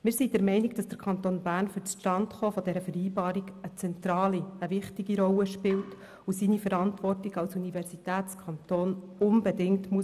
Wir sind der Meinung, dass der Kanton Bern für das Zustandekommen dieser Vereinbarung eine zentrale, wichtige Rolle spielt und seine Verantwortung als Universitätskanton unbedingt wahrnehmen muss.